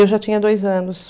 Eu já tinha dois anos.